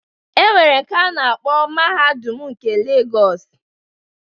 E nwere nke a na-akpọ Mahadum nke Legọs